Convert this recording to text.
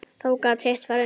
Þá gat hitt farið niður.